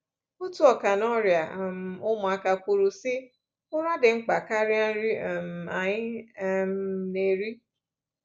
Otu ọkà n’ọrịa um ụmụaka kwuru, sị: “Ụra dị mkpa karịa nri um anyị um na-eri.